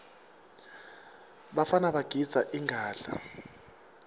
bafana bagidza ingadla